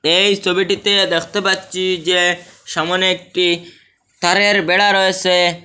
এই ছবিটিতে দেকতে পাচ্চি যে সামনে একটি তারের বেড়া রয়েসে।